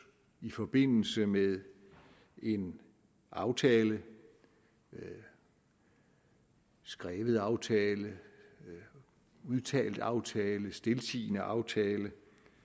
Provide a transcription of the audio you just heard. i forbindelse med en aftale en skrevet aftale en udtalt aftale en stiltiende aftale